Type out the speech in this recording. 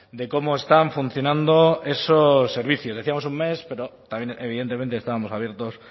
de cómo están funcionando esos servicios decíamos un mes pero también evidentemente estábamos abiertos